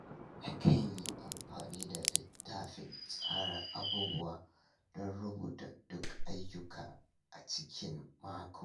Nakan yi amfani da littafin tsara abubuwa don rubuta duk ayyuka a cikin n mako.